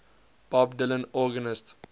bob dylan organist